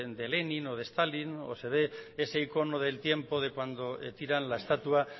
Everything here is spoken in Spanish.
de lenin o de stalin o se ve ese icono del tiempo de cuando tiran la estatua